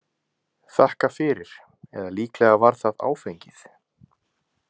þakka fyrir eða líklega var það áfengið.